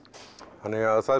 þannig að það